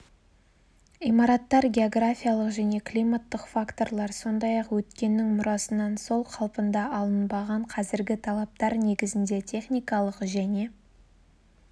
имараттар географиялық және климаттық факторлар сондай-ақ өткеннің мұрасынан сол қалпында алынбаған қазіргі талаптар негізінде техникалық және